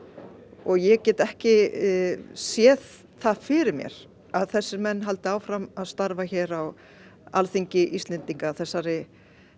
og ég get ekki séð það fyrir mér að þessir menn haldi áfram að starfa hér á Alþingi Íslendinga þessari